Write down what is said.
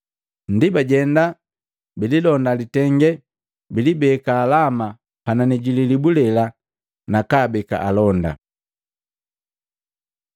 Ndi bajenda, bililonda litenge, bilibeka halama panani ji lilibu lela nakaabeka alonda.